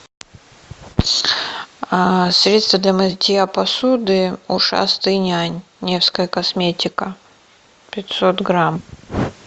а средство для мытья посуды ушастый нянь невская косметика пятьсот грамм